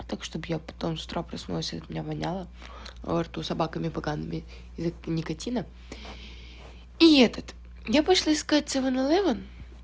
так чтобы я потом с утра проснулась и от меня поняла рту собаками поганый язык никотина и этот я пошла искать севон элевон